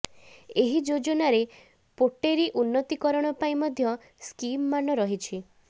ଏହି ଯୋଜନାରେ ପୋଟେରୀ ଉନ୍ନତିକରଣ ପାଇଁ ମଧ୍ୟ ସ୍କିମମାନ ରହିଛି